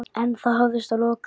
En það hafðist að lokum.